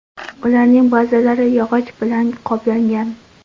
Ularning ba’zilari yog‘och bilan qoplangan.